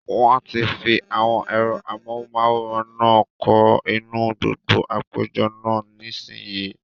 Wọ́n ti fi àwọn ẹ̀rọ amóhùnmáwòrán náà kọ́ inú gbọgán àpéjọ náà, nísìínyi